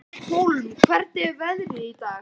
Hólm, hvernig er veðrið í dag?